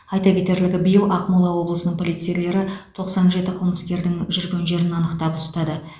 айта кетерлігі биыл ақмола облысының полицейлері тоқсан жеті қылмыскердің жүрген жерін анықтап ұстады